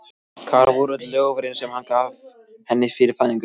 Hvar voru öll loforðin sem hann gaf henni fyrir fæðinguna?